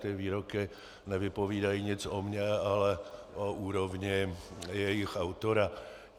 Ty výroky nevypovídají nic o mně, ale o úrovní jejich autora.